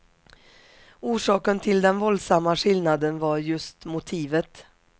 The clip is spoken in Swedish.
Orsaken till den våldsamma skillnaden var just motivet.